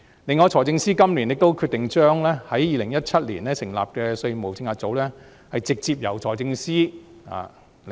此外，財政司司長今年決定將在2017年成立的稅務政策組直接由他領導。